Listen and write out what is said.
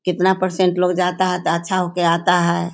कितना परसेंट लोग जाता है त अच्छा होके आता है।